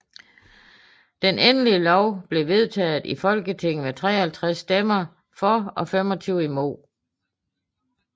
Den endelige lov blev vedtaget i Folketinget med 53 stemmer for og 25 imod